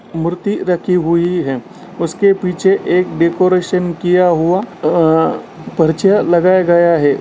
मूर्ति रखी हुई है उसके पीछे एक डेकोरेशन किया हुआ अ-अ पर्चा लगाया गया है।